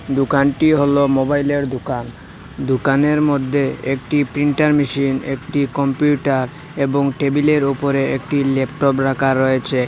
দোকানটি হলো মোবাইলের দোকান দোকানের মধ্যে একটি প্রিন্টার মেশিন একটি কম্পিউটার এবং টেবিলের ওপরে একটি ল্যাপটপ রাখা রয়েছে।